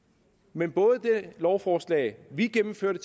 men både det lovforslag vi gennemførte